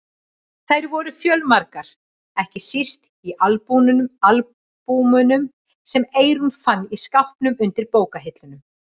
Þær voru fjölmargar, ekki síst í albúmunum sem Eyrún fann í skápnum undir bókahillunum.